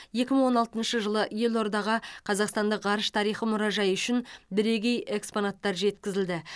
екі мың он алтыншы жылы елордаға қазақстандық ғарыш тарихы мұражайы үшін бірегей экспонаттар жеткізілді